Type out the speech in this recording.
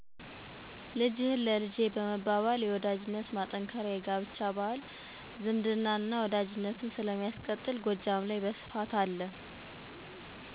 ልጅህን ለልጄ በመባባል የወዳጅነት ማጠንከሪያ የጋብቻ ባህል አለ ጎጃም ላይ።